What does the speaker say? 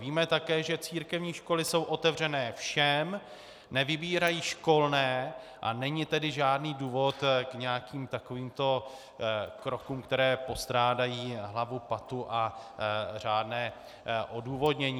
Víme také, že církevní školy jsou otevřené všem, nevybírají školné, a není tedy žádný důvod k nějakým takovýmto krokům, které postrádají hlavu, patu a řádné odůvodnění.